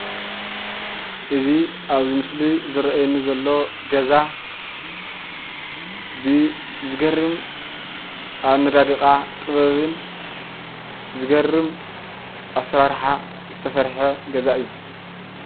እዚ ኣብዚ ምስሊ ዝረኣየኒ ዘሎ ገዛ ብዝገርም ኣነዳድቃ ጥበብን ዝገርም ኣሰራርሓ ዝተሰርሐ ገዛ እዩ።